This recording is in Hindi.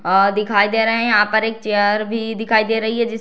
और दिखाई दे रहा हैं यहाँ पर एक चेयर भी दिखाई दे रही है जिस --